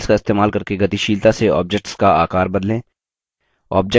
handles का इस्तेमाल करके गतिशीलता से objects का आकार बदलें